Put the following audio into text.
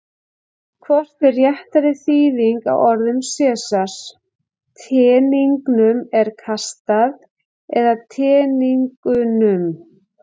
Hvort er réttari þýðing á orðum Sesars: Teningnum er kastað eða Teningunum?